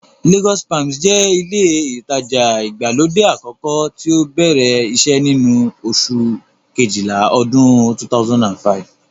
Lagos palms jẹ́ ilé ìtajà ìgbàlódé àkọ́kọ́ tí ó bẹ̀rẹ̀ iṣẹ́ ní oṣù kejìlá ọdún 2005